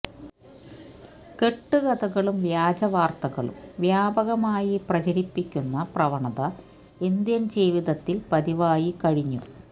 കെട്ടുകഥകളും വ്യാജ വാര്ത്തകളും വ്യാപകമായി പ്രചരിപ്പിക്കുന്ന പ്രവണത ഇന്ത്യന് ജീവിതത്തില് പതിവായി കഴിഞ്ഞു